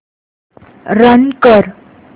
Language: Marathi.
रन कर